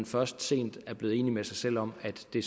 først sent er blevet enig med sig selv om at det